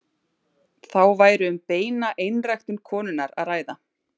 Þá væri um beina einræktun konunnar að ræða.